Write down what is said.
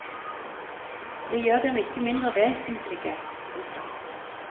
Det gjør dem ikke mindre vesentlige. punktum